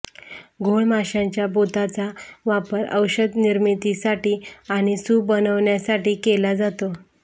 घोळ माशांच्या बोथाचा वापर औषध निर्मितीसाठी आणि सूप बनविण्यासाठी केला जातो